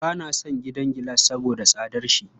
Ba na son gidan gilas saboda tsadarsa.